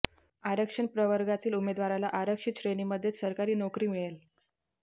आरक्षण प्रवर्गातील उमेदवाराला आरक्षित श्रेणीमध्येच सरकारी नोकरी मिळेल